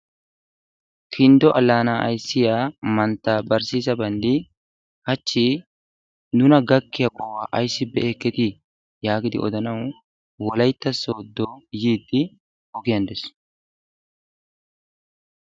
kindo alaanaa ayssiya mantaBarsiisa bandi hachi nuna gakkiya qohuwa ayssi be'eketii yaagidi odanawu wolaytta sooddo yiidi ogiyan de'ees.